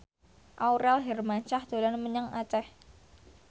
Aurel Hermansyah dolan menyang Aceh